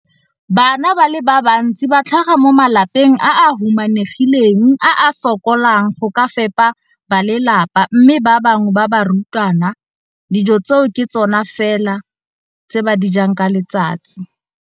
Bana ba le bantsi ba tlhaga mo malapeng a a humanegileng a a sokolang go ka fepa ba lelapa mme ba bangwe ba barutwana, dijo tseo ke tsona fela tse ba di jang ka letsatsi.